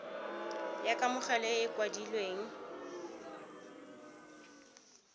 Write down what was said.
ya kamogelo e e kwadilweng